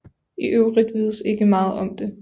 I øvrigt vides ikke meget om det